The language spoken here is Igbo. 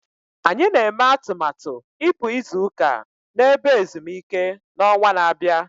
Anyị na-eme atụmatụ ịpụ izu ụka na ebe ezumike n'ọnwa na-abịa